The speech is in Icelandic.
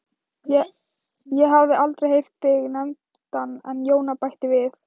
Ég hafði aldrei heyrt þig nefndan en Jóna bætti við